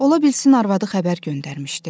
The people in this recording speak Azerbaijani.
Ola bilsin arvadı xəbər göndərmişdi.